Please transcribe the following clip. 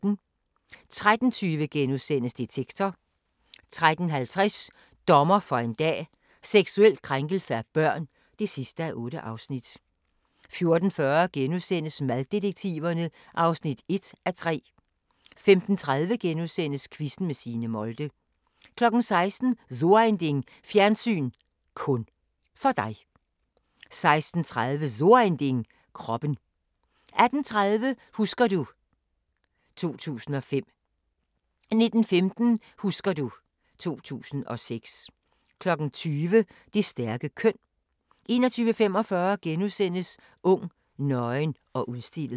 13:20: Detektor * 13:50: Dommer for en dag: Seksuel krænkelse af børn (8:8) 14:40: Maddetektiverne (1:3)* 15:30: Quizzen med Signe Molde * 16:00: So ein Ding: Fjernsyn (kun) for dig 16:30: So ein Ding: Kroppen 18:30: Husker du ... 2005 * 19:15: Husker du ... 2006 20:00: Det stærke køn 21:45: Ung, nøgen og udstillet *